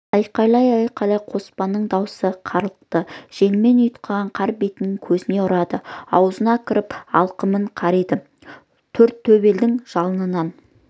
айқайлай-айқайлай қоспанның даусы қарлықты желмен ұйтқыған қар бетіне көзіне ұрады аузына кіріп алқымын қариды тортөбелдің жалынан